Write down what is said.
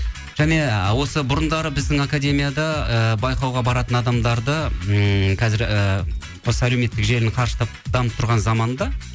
және осы бұрындары біздің академияда ыыы байқауға баратын адамдарды ммм қазір ііі осы әлеуметтік желінің қарыштап дамып тұрған заманында